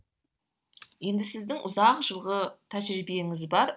енді сіздің ұзақ жылғы тәжірибеңіз бар